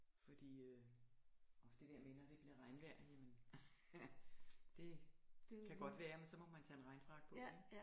Fordi øh det der med når det bliver regnvejr jamen det kan godt være men så må man tage en regnfrakke på ikke